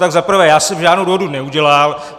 Tak za prvé, já jsem žádnou dohodu neudělal.